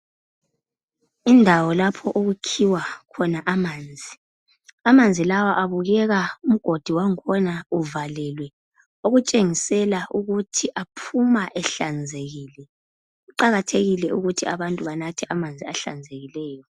Indawo lapho okukhiwa khona amanzi. Amanzi lawa abukeka umgodi wangikhona uvalekile. Okutshengisela ukuthi aphuma ehlanzekile. Kuqakathekile ukuthi abantu banathe amanzi ahlanzekileyo.